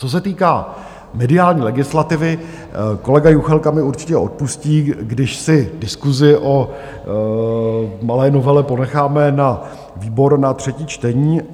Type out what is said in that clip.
Co se týká mediální legislativy, kolega Juchelka mi určitě odpustí, když si diskusi o malé novele ponecháme na výbor na třetí čtení.